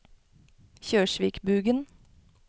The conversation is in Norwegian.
Kjørsvikbugen